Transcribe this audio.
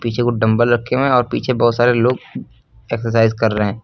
पीछे कुछ डंबल रखे हुए है और पीछे बहोत सारे लोग एक्सरसाइज कर रहे--